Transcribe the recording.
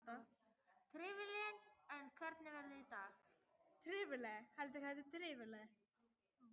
Tarfur, hvernig er veðrið í dag?